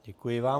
Děkuji vám.